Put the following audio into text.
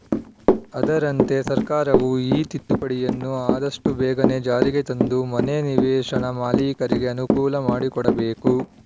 ಅದರಂತೆ ಸರ್ಕಾರವು ಈ ತಿದ್ದುಪಡಿಯನ್ನು ಆದಷ್ಟುಬೇಗನೇ ಜಾರಿಗೆ ತಂದು ಮನೆ ನಿವೇಶನ ಮಾಲಿಕರಿಗೆ ಅನುಕೂಲ ಮಾಡಿಕೊಡಬೇಕು